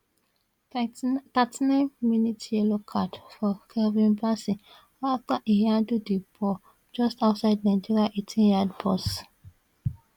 39 mins yellow card for calvin bassey afta e handle di ball just outside nigeria eighteenyard box